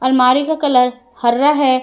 अलमारी का कलर हरा है।